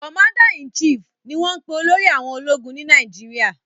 "Commander in chief" ní wón pè olórí àwọn omo ológun Ni Nàìjíríà